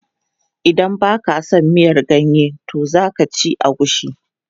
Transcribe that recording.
Idan ba ka a son miyan ganye to za ka ci agushi.